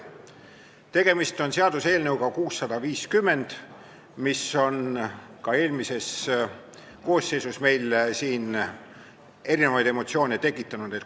Tegemist on praegu seaduseelnõuga 650, mis ka eelmises koosseisus meil siin erinevaid emotsioone tekitas.